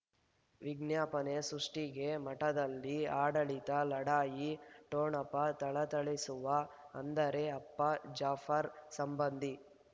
ವಿಜ್ಞಾಪನೆ ಸೃಷ್ಟಿಗೆ ಮಠದಲ್ಲಿ ಆಡಳಿತ ಲಢಾಯಿ ಠೊಣಪ ಥಳಥಳಿಸುವ ಅಂದರೆ ಅಪ್ಪ ಜಾಫರ್ ಸಂಬಂಧಿ